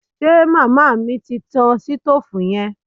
Ṣe màmá mi ti tan sitóòfù yẹn